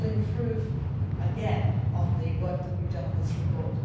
We will improve again on the work that we have done on this report.